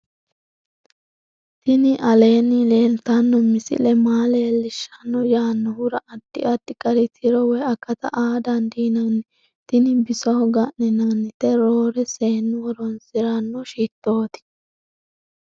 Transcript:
tini aleenni leeltanno misile maa leellishshanno yaannohura addi addi gari tiro woy akata aa dandiinanni tini bisoho ga'ninannite roore seennu horosiranno shitooti